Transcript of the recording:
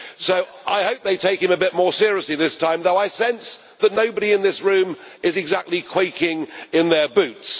So I hope they take him a bit more seriously this time, though I sense that nobody in this room is exactly quaking in their boots.